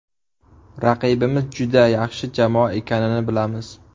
Raqibimiz juda yaxshi jamoa ekanini bilamiz.